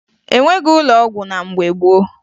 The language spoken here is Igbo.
E nweghi ụlọ ọgwụ na mgbe gboo